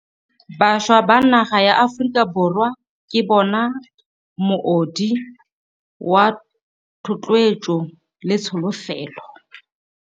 Bašwa ba naga ya Aforika Borwa ke bona moodi wa thotloetso le tsholofelo.